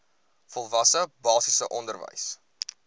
volwasse basiese onderwys